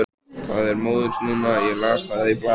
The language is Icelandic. Það er móðins núna, ég las það í blaði.